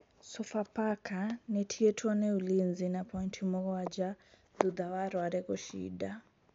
Sofapaka nĩ ĩtigĩtuo nĩ Ulinzi na pointi mũgwanja thutha wa Rware gũcinda.